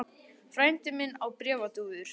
Frændi minn á bréfdúfur.